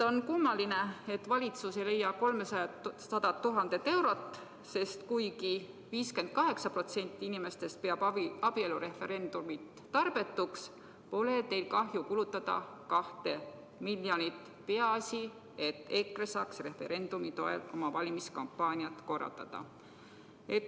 On kummaline, et valitsus ei leia seda 300 000 eurot, sest kuigi 58% inimestest peab abielureferendumit tarbetuks, pole teil kahju kulutada sellele 2 miljonit – peaasi, et EKRE saaks referendumi toel oma valimiskampaaniat korraldada.